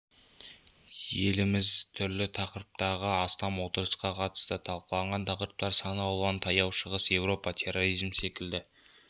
еліміз түрлі тақырыптағы астам отырысқа қатысты талқыланған тақырыптар сан алуан таяу шығыс еуропа терроризм секілді